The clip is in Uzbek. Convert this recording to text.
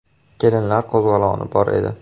“Kelinlar qo‘zg‘oloni” bor edi.